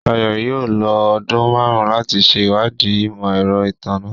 Shayo yóò lo ọdun márùn láti ṣe ìwádìí imọ-ẹrọ ìtanná